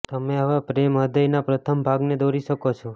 તમે હવે પ્રેમ હૃદયના પ્રથમ ભાગને દોરી શકો છો